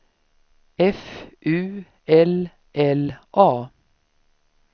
F U L L A